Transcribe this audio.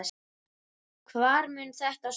Hvar mun þetta stoppa?